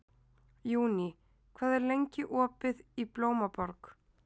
Júní, hvað er lengi opið í Blómaborg?